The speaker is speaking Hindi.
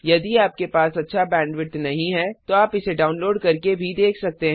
यदि आपके पास अच्छा बैंडविड्थ नहीं है तो आप इसे डाउनलोड करके भी देख सकते हैं